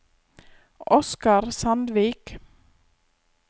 Oscar Sandvik